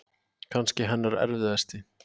Kannski hennar erfiðasti.